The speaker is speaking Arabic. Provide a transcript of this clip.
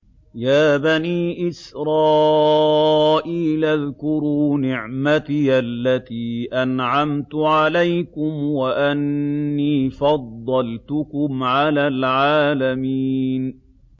يَا بَنِي إِسْرَائِيلَ اذْكُرُوا نِعْمَتِيَ الَّتِي أَنْعَمْتُ عَلَيْكُمْ وَأَنِّي فَضَّلْتُكُمْ عَلَى الْعَالَمِينَ